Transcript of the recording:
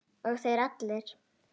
Og þeir allir!